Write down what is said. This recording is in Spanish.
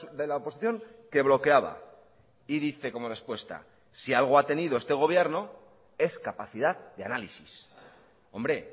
de la oposición que bloqueaba y dice como respuesta si algo ha tenido este gobierno es capacidad de análisis hombre